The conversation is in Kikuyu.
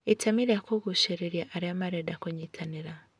Itemi rĩa kũgucĩrĩria arĩa marenda kũnyitanĩra